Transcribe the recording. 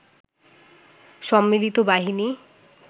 সম্মিলিত বাহিনী